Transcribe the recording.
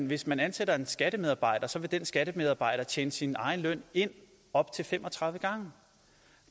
hvis man ansætter en skattemedarbejder vil den skattemedarbejder tjene sin egen løn ind op til fem og tredive gange